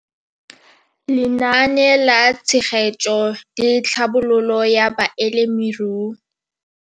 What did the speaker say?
Lenaane la Tshegetso le Tlhabololo ya Balemirui.